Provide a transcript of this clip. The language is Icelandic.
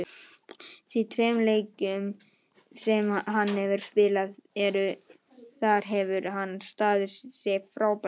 Í þeim tveimur leikjum sem hann hefur spilað þar hefur hann staðið sig frábærlega.